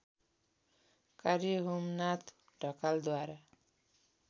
कार्य होमनाथ ढकालद्वारा